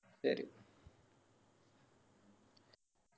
ശരി